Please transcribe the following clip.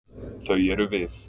Þau eru við.